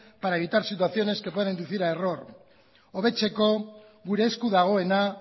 para evitar situaciones que pueden inducir a error hobetzeko gure esku dagoena